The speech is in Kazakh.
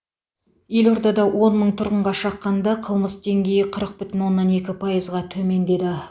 елордада он мың тұрғынға шаққанда қылмыс деңгейі қырық бүтін оннан екі пайызға төмендеді